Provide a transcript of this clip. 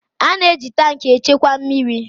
A na-eji tankị echekwa mmiri